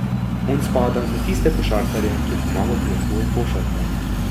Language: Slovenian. On spada med tiste košarkarje, ki je pomagal pri razvoju košarke.